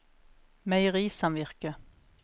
meierisamvirket